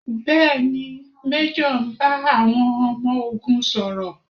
Bẹ́ẹ̀ni, Méjọ̀ ń bá àwọn ọmọ ogun sọ̀rọ̀?